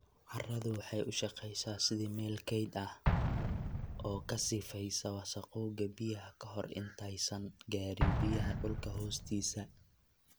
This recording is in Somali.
Carradu waxay u shaqeysaa sidii meel kayd ah, oo ka sifaysa wasakhowga biyaha ka hor intaysan gaarin biyaha dhulka hoostiisa.